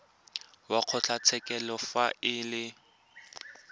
wa kgotlatshekelo fa e le